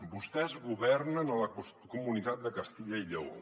vostès governen a la comunitat de castella i lleó